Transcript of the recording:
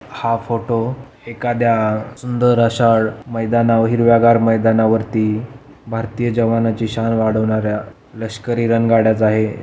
हा फोटो एखाद्या सुंदर अशा मैदान व हिरव्या गार मैदाना वरती भारतीय जवानांची शान वाढवणाऱ्या लष्करी रणगाड्याचा आहे.